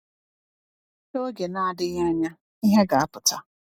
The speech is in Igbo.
N’oge na-adịghị anya, ihe ga-apụta.